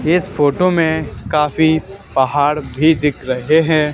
इस फोटो में काफी पहाड़ भी दिख रहे हैं।